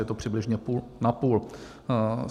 Je to přibližně půl na půl.